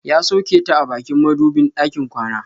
Ya soke ta a bakin madubin ɗakin kwana.